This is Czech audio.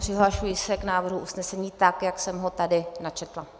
Přihlašuji se k návrhu usnesení, tak jak jsem ho tady načetla.